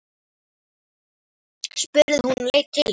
spurði hún og leit til hans.